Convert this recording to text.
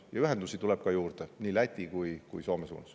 Ja ühendusi tuleb juurde, nii Läti kui ka Soome suunas.